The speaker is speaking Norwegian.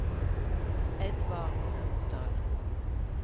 Edvard Nordahl